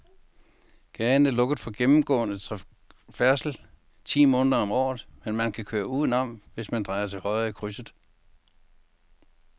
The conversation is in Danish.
Gaden er lukket for gennemgående færdsel ti måneder om året, men man kan køre udenom, hvis man drejer til højre i krydset.